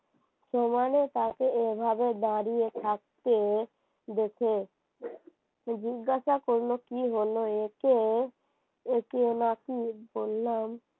তোমারও তাকে এভাবে দাঁড়িয়ে থাকতে দেখে তুই জিজ্ঞাসা করল কি হলো এ কে? কে কে নাকি বললাম